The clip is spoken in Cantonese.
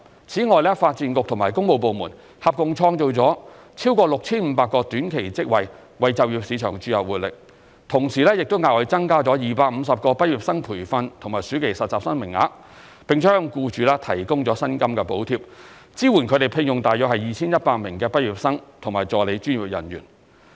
此外，發展局和工務部門合共創造了超過 6,500 個短期職位，為就業市場注入活力，同時亦額外增加250個畢業生培訓和暑期實習生名額，並向僱主提供薪金補貼，支援他們聘用約 2,100 名畢業生和助理專業人員。